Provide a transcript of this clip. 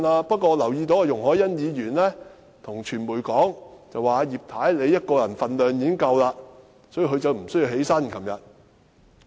不過，我留意到容議員對傳媒說，葉太一個人的分量已經足夠，所以她昨天無需站起來。